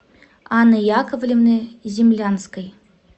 анны яковлевны землянской